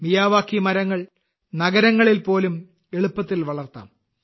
Miyawaki മരങ്ങൾ നഗരങ്ങളിൽ പോലും എളുപ്പത്തിൽ വളർത്താം